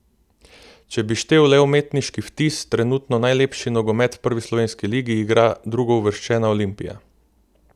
Če bi štel le umetniški vtis, trenutno najlepši nogomet v prvi slovenski ligi igra drugouvrščena Olimpija.